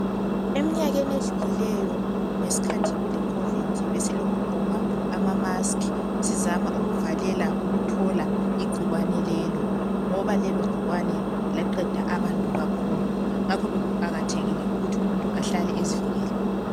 Eminyakeni edlulileyo ngesikhathi kule COVID ,besilokugqoka ama mask. Sizama ukuvalela ukuthola igcikwane lelo ,ngoba lelo gcikwane laqeda abantu kakhulu. Ngakho bekuqakathekile ukuthi umuntu ahlale ezivikele.